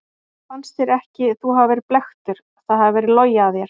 Fannst þér ekki þú hafa verið blekktur, það hafi verið logið að þér?